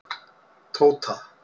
Tóta